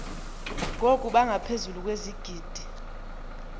ngoku bangaphezulu kwezigidi